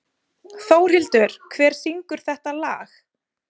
Þórhildur, hver syngur þetta lag?